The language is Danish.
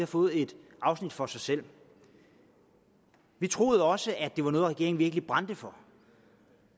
fået et afsnit for sig selv vi troede også at det var noget regeringen virkelig brændte for